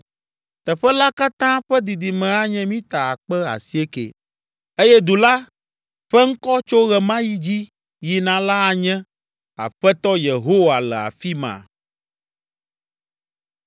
“Teƒe la katã ƒe didime anye mita akpe asiekɛ. “Eye du la ƒe ŋkɔ tso ɣe ma ɣi dzi yina la anye, ‘Aƒetɔ Yehowa le afi ma.’ ”